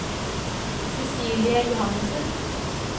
Cecilie Johannessen